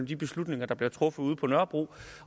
de beslutninger der bliver truffet ude på nørrebro